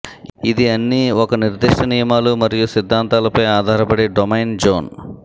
ఇది అన్ని ఒక నిర్దిష్ట నియమాలు మరియు సిద్ధాంతాలపై ఆధారపడి డొమైన్ జోన్